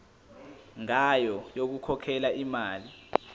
ngayo yokukhokhela imali